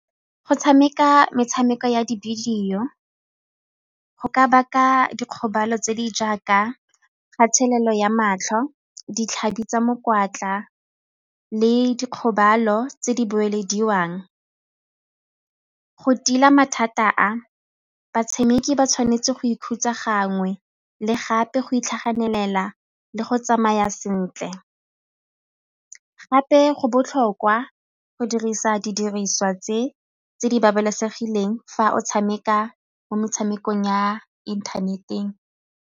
Go tshameka metshameko ya di-video go ka baka dikgobalo tse di jaaka kgathelelo ya matlho, ditlhabi tsa mokwatla le dikgobalo tse di boelediwang. Go tila mathata a batshameki ba tshwanetse go ikhutsa gangwe le gape go itlhaganela le go tsamaya sentle. Gape go botlhokwa go dirisa didiriswa tse di babalesegileng fa o tshameka mo metshamekong ya internet-eng.